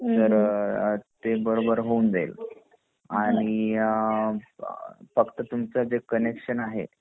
तर ते बरोबर होऊन जाईल आणि अ फक्त तुमच जे कनेक्शन आहे